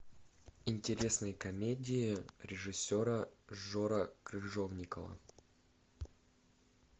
интересные комедии режиссера жора крыжовникова